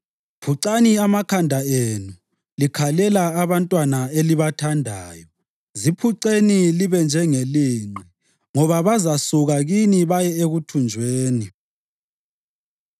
Phucani amakhanda enu likhalela abantwabenu elibathandayo; ziphuceni libe njengelinqe ngoba bazasuka kini baye ekuthunjweni.